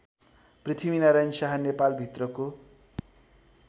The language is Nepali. पृथ्वीनारायण शाह नेपालभित्रको